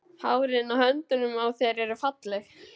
Hárin á höndunum á þér eru falleg.